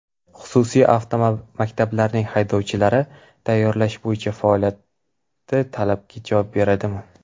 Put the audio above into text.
Xususiy avtomaktablarning haydovchilarni tayyorlash bo‘yicha faoliyati talabga javob beradimi?.